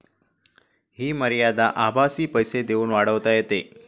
हि मर्यादा आभासी पैसे देऊन वाढवता येते.